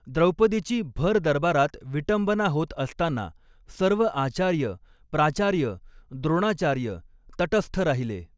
द्रौपदीची भरदरबारात विटंबना होत असताना सर्व आचार्य, प्राचार्य, द्रोणाचार्य तटस्थ राहिले.